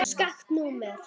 Skakkt númer.